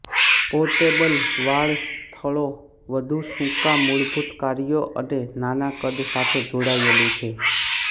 portable વાળ સ્થળો વધુ સુકાં મૂળભૂત કાર્યો અને નાના કદ સાથે જોડાયેલું છે